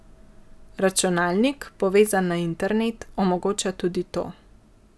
Računalnik, povezan na internet, omogoča tudi to.